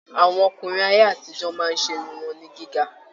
Àwọn ọkùnrin ayé àtijọ máa ṣe irun wọn ní gíga.